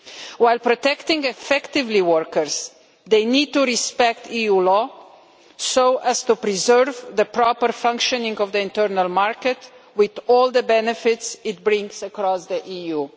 While protecting workers effectively, they need to respect EU law so as to preserve the proper functioning of the internal market with all the benefits it brings across the EU.